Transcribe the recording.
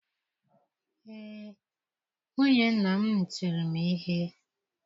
Ee, nwunye nna m tiri m ihe.